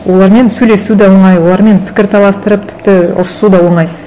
олармен сөйлесу де оңай олармен пікірталастырып тіпті ұрысу да оңай